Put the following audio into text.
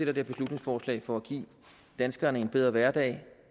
dette beslutningsforslag for at give danskerne en bedre hverdag